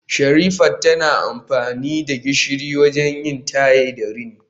Sherifat tana amfani da gishiri wajen yin taye da rini